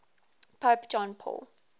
pope john paul